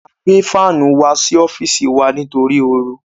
A gbé fánù wá sí ọ́fìsì wá sí wa nítorí oru.